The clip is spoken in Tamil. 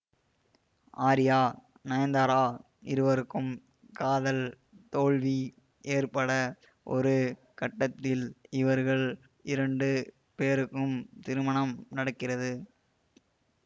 ஆர்யா நயன்தாரா இருவருக்கும் காதல் தோல்வி ஏற்பட ஒரு கட்டத்தில் இவர்கள் இரண்டு பேருக்கும் திருமணம் நடக்கிறது